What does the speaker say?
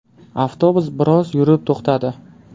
Avtobus biroz yurib to‘xtadi.